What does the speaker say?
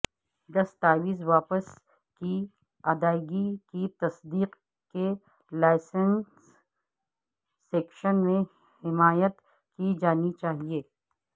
دستاویز واپس کی ادائیگی کی تصدیق کے لائسنسنگ سیکشن میں حمایت کی جانی چاہئے